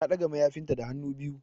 Ta ɗaga mayafinta da hannu biyu.